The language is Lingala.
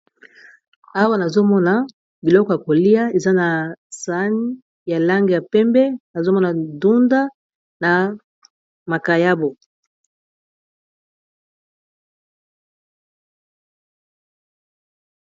Awa nazomona biloko ya kolia eza na sahani ya langi ya pembe nazomona dunda na makayabo.